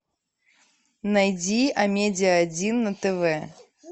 найди амедиа один на тв